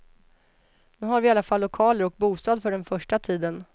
Nu har vi i alla fall lokaler och bostad för den första tiden.